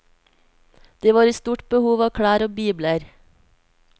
De var i stort behov av klær og bibler.